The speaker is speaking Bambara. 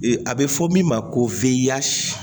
A bɛ fɔ min ma ko f'i ya si